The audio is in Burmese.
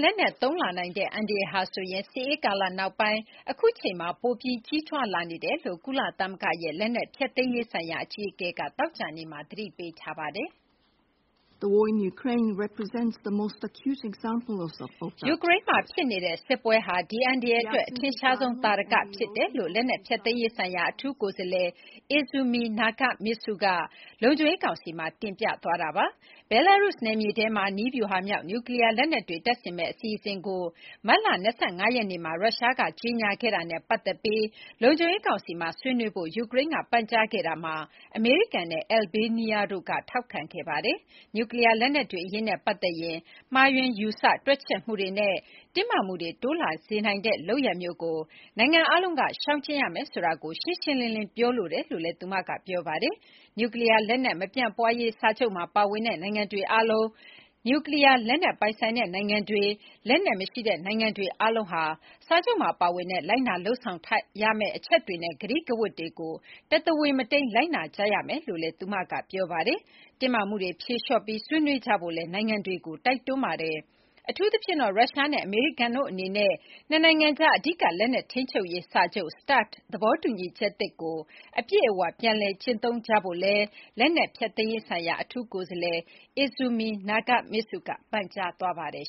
လက်နက် သုံးလာနိုင်တဲ့အန္တရာယ်ဟာ စစ်အေးကာလနောက်ပိုင်း အခုအချိန်မှာ ပိုပြီးကြီးထွားလာနေတယ်လို့ ကုလသမဂ္ဂရဲ့ လက်နက်ဖျက်သိမ်းရေးဆိုင်ရာအကြီးအကဲက သောကြာနေ့မှာ သတိပေးလိုက်ပါတယ်။ ယူကရိန်းနိုင်ငံမှာဖြစ်ပွါးနေတဲ့ စစ်ပွဲဟာ ဒီအန္တရာယ်အတွက် အထင်ရှားဆုံး သာဓက ဖြစ်တယ်လို့ လက်နက်ဖျက်သိမ်းရေးဆိုင်ရာ အထူးကိုယ်စားလှယ် Izumi Nakamitsu က လုံခြုံရေးကောင်စီမှာ တင်ပြခဲ့ပါတယ်။ ဘဲလားရုစ် နယ်မြေထဲမှာ နည်းဗျူဟာမြောက် နျူကလီးယား လက်နက်တွေ တပ်ဆင်မယ့် အစီအစဉ်ကို မတ်လ ၂၅ ရက်နေ့မှ ရုရှားက ကြေညာခဲ့တာနဲ့ ပတ်သက်ပြီး လုံခြုံရေးကောင်စီမှာ ဆွေးနွေးဖို့ ယူကရိန်းကပန်ကြားခဲ့တာမှာ အမေရိကန်နဲ့ အယ်လ်ဘေးနီးယားတို့ကလည်း ထောက်ခံခဲ့တာပါ။ နျူကလီးယား လက်နက်တွေအရေးနဲ့ပတ်သက်ရင် မှားယွင်းယူဆတွက်ချက်မှုတွေနဲ့ တင်းမာမှုတွေတိုးလာစေနိုင်တဲ့ လုပ်ရပ်မျိုးကို နိုင်ငံအားလုံးက ရှောင်ကျဉ်ရမယ်ဆိုတာကို ရှင်းရှင်းလင်းလင်း ပြောလိုပါတယ်လို့လည်း သူမက ပြောဆိုခဲ့ပါတယ်။ နျူကလီးယားမပြန့်ပွားရေးစာချုပ်မှာ ပါဝင်တဲ့နိုင်ငံတွေအားလုံး နျူကလီးယား လက်နက်ပိုင်ဆိုင်တဲ့နိုင်ငံတွေ၊ နျူကလီးယား လက်နက်မရှိတဲ့နိုင်ငံတွေ အားလုံးဟာ စာချုပ်မှာပါဝင်တဲ့ လိုက်နာလုပ်ဆောင်ရမယ့်အချက်တွေနဲ့ ကတိကဝတ်တွေကို တသဝေမတိမ်း လိုက်နာကြရမယ်လို့လည်း ပြောဆိုခဲ့ပါတယ်။ တင်းမာမှုတွေ ဖြေလျှော့ပြီး ဆွေးနွေးကြဖို့လည်း နိုင်ငံတွေကို တိုက်တွန်းပါတယ်။ အထူးသဖြင့်တော့ ရုရှားနဲ့ အမေရိကန်တို့အနေနဲ့ နှစ်နိုင်ငံကြား အဓိက လက်နက်ထိန်းချုပ်ရေးစာချုပ် START သဘောတူညီချက်သစ်ကို အပြည့်အဝ ပြန်လည် ကျင့်သုံးကြဖို့လည်း လက်နက်ဖျက်သိမ်းရေးဆိုင်ရာ အထူးကိုယ်စားလှယ် Izumi Nakamitsu က ပန်ကြားခဲ့ပါတယ်